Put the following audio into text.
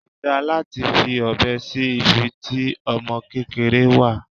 Kò dá láti fi ọbẹ sí ibi tí ọmọ kékeré wà.